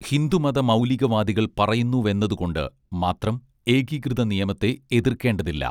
ഹിന്ദുമത മൗലിക വാദികൾ പറയുന്നുവെന്നത് കൊണ്ട് മാത്രം ഏകീകൃത നിയമത്തെ എതിർക്കേണ്ടതില്ല